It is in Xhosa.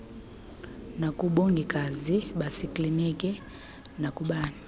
nakubongikazi basekliniki nakubani